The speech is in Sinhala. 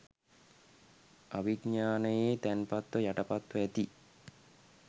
අවිඥානයේ තැන්පත්ව යටපත්ව ඇති